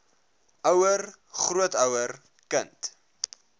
ouer grootouer kind